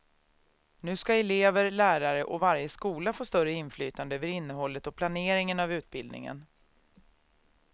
Nu ska elever, lärare och varje skola få större inflytande över innehållet och planeringen av utbildningen.